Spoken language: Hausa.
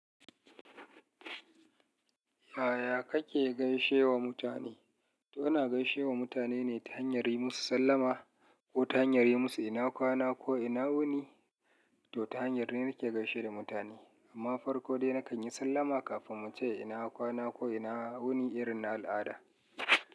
Yaya kake gaishe wa mutane? To ina gaishe wa mutane ne ta hanyar yi musu sallama ko ta hanyar yi musu ina kwana ko ina wuni, to ta hanyar ne nake gaishe da mutane. Amma farko dai na kan yi sallama kafin mu ce ina kwana ko ina wuni irin al'ada.